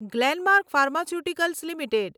Glenmark pharmaceuticals limited